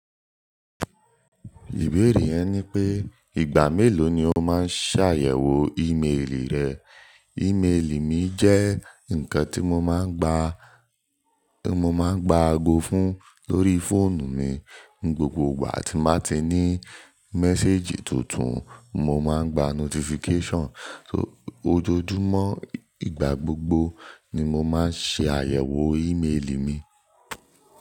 Ìbéèrè yẹn ni pé ìgbà mélòó ni o máa ń ṣàyẹ̀wò ímélì rẹ? Ìmélì mi jẹ́ nǹkan tí mo máa ń gba, mo máa ń gba ago fún lórí fóònù mi. Ni gbogbo ìgbà tí máa ti ní méséjì tuntun, mo máa ń gba notification. So, ojoojúmọ́, ìgbà gbogbo ni mo máa ń ṣe àyẹ̀wò ímélì mi.